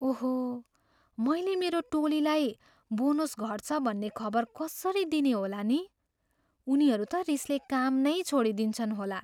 ओहो! मैले मेरो टोलीलाई बोनस घट्छ भन्ने खबर कसरी दिने होला नि? उनीहरू त रिसले काम नै छोडिदिन्छन् होला!